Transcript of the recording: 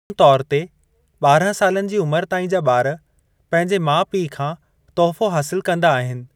आम तौर ते, ॿारहं सालनि जी उमिरि ताईं जा ॿार पंहिंजे माउ पीउ खां तोहफ़ो हासिलु कंदा आहिनि।